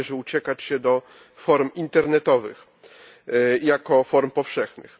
Nie należy uciekać się do form internetowych jako form powszechnych.